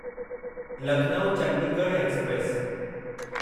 Lucknow Chandigarh express